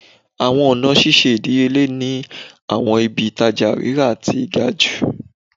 Awọn ọna ṣiṣe idiyele ni awọn ibi-itaja rira ti gaju